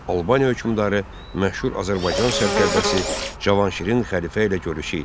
Bu Albaniya hökmdarı məşhur Azərbaycan sərkərdəsi Cavanşirin xəlifə ilə görüşü idi.